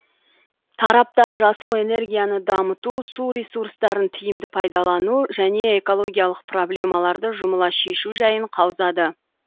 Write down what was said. тараптар жасыл энергияны дамыту су ресурстарын тиімді пайдалану және экологиялық проблемаларды жұмыла шешу жайын қаузады